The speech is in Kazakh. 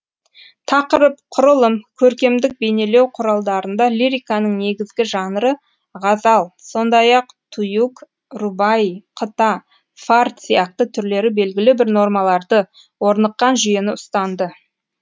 тақырып құрылым көркемдік бейнелеу құралдарында лириканың негізгі жанры ғазал сондай ақ туюг рубаи қыта фард сияқты түрлері белгілі бір нормаларды орныққан жүйені ұстанды